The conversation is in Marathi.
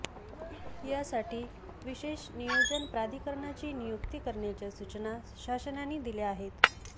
यासाठी विशेष नियोजन प्राधिकरणाची नियुक्ती करण्याच्या सूचना शासनाने दिल्या आहेत